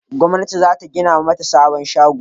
gwamnati za ta gina mata sabon shago